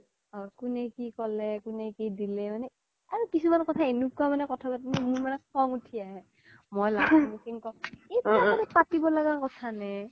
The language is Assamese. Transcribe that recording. অ কুনে কি ক'লে কুনে কি দিলে মানে আৰু কিছ্মান মনে এনেকুৱা কথা পাতে মোৰ মান খূনং উথি আহে মই last পিনে কও এইবিলাক আৰু পতিব লগিয়া কথা নে